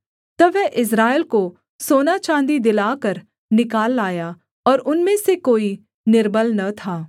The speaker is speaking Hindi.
तब वह इस्राएल को सोना चाँदी दिलाकर निकाल लाया और उनमें से कोई निर्बल न था